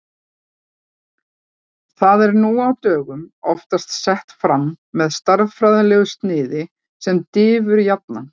Það er nú á dögum oftast sett fram með stærðfræðilegu sniði sem diffurjafna.